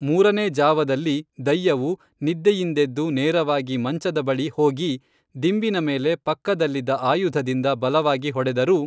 ಮೂರನೇ ಝಾವದಲ್ಲಿ ದಯ್ಯವು ನಿದ್ದೆಯಿಂದೆದ್ದು ನೇರವಾಗಿ ಮಂಚದ ಬಳಿ ಹೋಗಿ ದಿಂಬಿನ ಮೇಲೆ ಪಕ್ಕದಲ್ಲಿದ್ದ ಆಯುಧದಿಂದ ಬಲವಾಗಿ ಹೊಡೆದರೂ